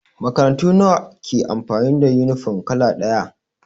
Makarantu nawa ke amfani da yunifom kala ɗaya?